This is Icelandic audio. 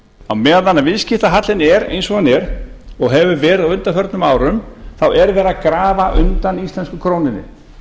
á meðan að viðskiptahallinn er eins og hann er og hefur verið á undanförnum árum er verið að grafa undan íslensku krónunni